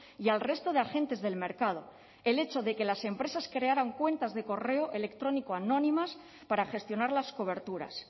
y al resto de agentes del mercado el hecho de que las empresas crearan cuentas de correo electrónico anónimas para gestionar las coberturas